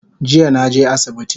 Jiya naje asibiti